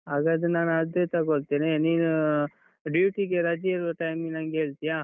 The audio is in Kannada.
ಹಾಗಾದ್ರೆ ನಾನ್ ಅದೇ ತಗೊಳ್ತೇನೆ, ನೀನು ಅಹ್ duty ಗೆ ರಜೆ ಇರುವ time ಗೆ ನಂಗೆ ಹೇಳ್ತಿಯಾ?